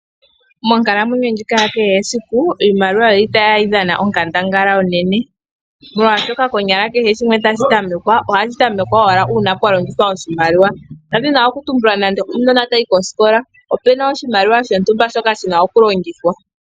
Monkalamwenyo ndjika ya kehe esiku, iimaliwa oyili tayi dhana onkandangala onene, molwaashoka konyala kehe shimwe tashi tamekwa ohashi tamekwa owala uuna pwa longithwa oshimaliwa, ndadhina okutumbula nande okanona taka yi kosikola, opuna oshimaliwa shontumba shoka shina okulongithwa.